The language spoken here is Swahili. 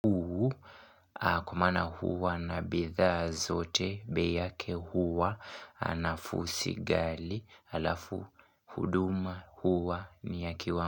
Huu kwa maana huwa na bidhaa zote bei yake huwa anafusigali alafu huduma huwa ni ya.